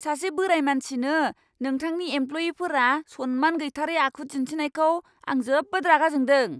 सासे बोराय मानसिनो नोंथांनि एमप्ल'इयिफोरा सनमान गैथारै आखु दिन्थिनायखौ आं जोबोद रागा जोंदों।